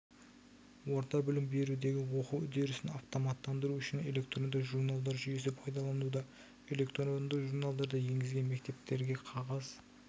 орта білім берудегі оқу үдерісін автоматтандыру үшін электронды журналдар жүйесі пайдаланылуда электронды журналдарды енгізген мектептерде қағаз